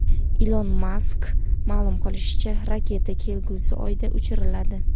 Ilon Maskning ma’lum qilishicha, raketa kelgusi oyda uchiriladi.